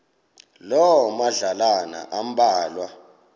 loo madlalana ambalwa